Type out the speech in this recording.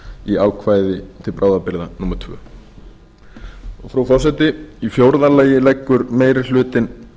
í ákvæði til bráðabirgða annars frú forseti í fjórða lagi leggur meiri hlutinn